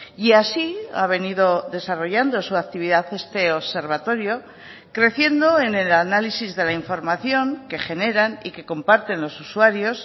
y así ha venido desarrollando su actividad este observatorio creciendo en el análisis de la información que generan y que comparten los usuarios